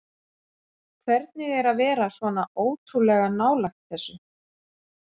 Hvernig er að vera svona ótrúlega nálægt þessu?